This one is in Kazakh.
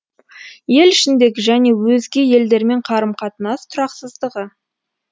ел ішіндегі және өзге елдермен қарым қатынас тұрақсыздығы